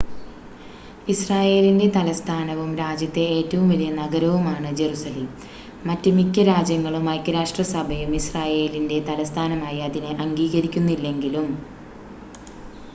ഇസ്രായേലിൻ്റെ തലസ്ഥാനവും രാജ്യത്തെ ഏറ്റവും വലിയ നഗരവുമാണ് ജറുസലേം മറ്റ് മിക്ക രാജ്യങ്ങളും ഐക്യരാഷ്ട്രസഭയും ഇസ്രായേലിൻ്റെ തലസ്ഥാനമായി അതിനെ അംഗീകരിക്കുന്നില്ലെങ്കിലും